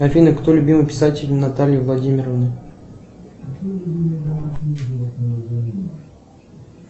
афина кто любимый писатель натальи владимировны